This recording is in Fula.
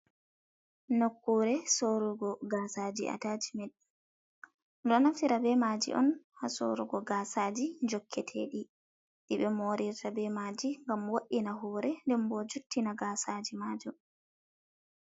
Nokkure sorugo gaasa aji atacimen, ɗo naftira be maji on ha sorugo gaasaaji jokketeɗi ɗiɓe morirta be maaji gam woina hore den bo juttina gaasaji maa jum.